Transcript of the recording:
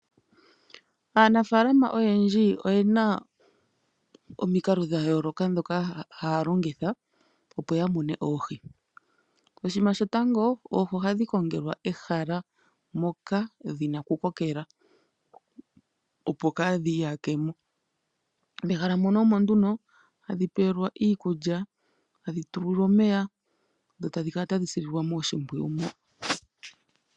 Aanafaalama oyendji oye na omikalo dha yooloka ndhoka haya longitha, opo ya mune oohi. Oshinima shotango, oohi ohadhi kongelwa ehala, moka dhi na okukokela opo ka dhi iyake mo, mehala muno omo nduno hadhi pelwa iikulya, hadhi tulwa nomeya, dho tadhi kala tadhi sililwa mo oshimpwiyu mo.